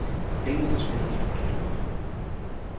Pengene forsvinder i forkerte lommer.